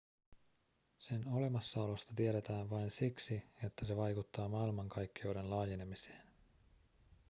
sen olemassaolosta tiedetään vain siksi että se vaikuttaa maailmankaikkeuden laajenemiseen